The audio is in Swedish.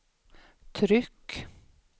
tryck